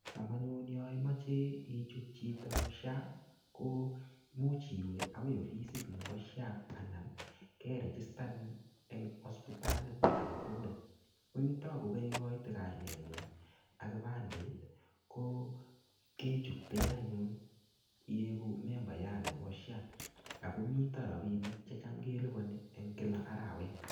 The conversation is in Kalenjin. Cham anyun yaimeche icuht chito SHA, ko much iwe akoi ofisit nebo SHA, anan kerechistanin eng hospitalit age tugul. Ko itogu kaikote ngung, ak kipandet ko kechutken anyun iegu membaiyat nebo SHA. Akomite rabinik che cham kelipani eng kila arawet.